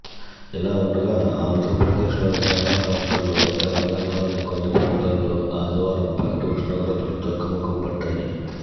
ఇలా ఉండగా ఆంధ్రప్రదేశ్లోని చాలా ప్రాంతాల్లో తెలంగాణలోని కొన్ని ప్రాంతాల్లో ఆదివారం పగటి ఉష్ణోగ్రతలు తగ్గుముఖం పట్టాయి